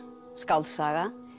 skáldsaga